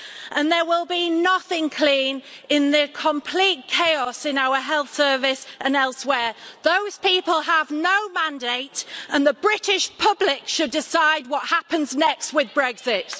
and there will be nothing clean in the complete chaos in our health service and elsewhere. Those people have no mandate and the British public should decide what happens next with Brexit.